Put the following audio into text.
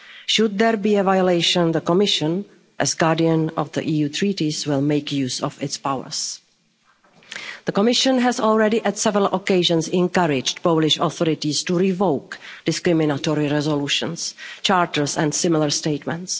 EU law. Should there be a violation, the Commission, as guardian of the EU Treaties, will make use of its powers. The Commission has already, on several occasions, encouraged the Polish authorities to revoke discriminatory resolutions, charters and similar statements.